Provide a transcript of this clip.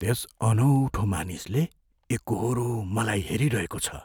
त्यस अनौठो मानिसले एकोहोरो मलाई हेरिरहेको छ।